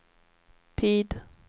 tid